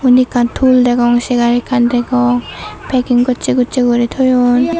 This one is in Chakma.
indi ekkan tool degong segar ekkan degong paking gosse gosse guri toyon.